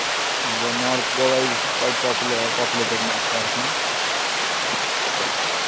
thenorth Goa isquitepopularpopulatedrightnow